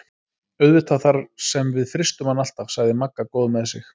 Auðvitað þar sem við frystum hann alltaf sagði Magga góð með sig.